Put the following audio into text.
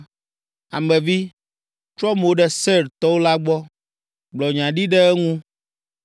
“Ame vi, trɔ mo ɖe Seir to la gbɔ, gblɔ nya ɖi ɖe eŋu,